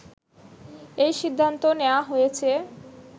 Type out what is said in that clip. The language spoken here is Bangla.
এই সিদ্ধান্ত নেয়া হয়েছে